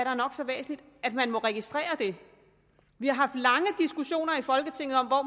er nok så væsentligt man må registrere det vi har haft lange diskussioner i folketinget om